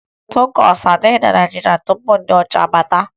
Takosu adịghị na Naịjirịa tupu ndị ọcha abịa